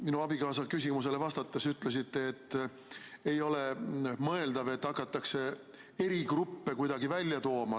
Minu abikaasa küsimusele vastates te ütlesite, et ei ole mõeldav, et hakatakse eri gruppe kuidagi välja tooma.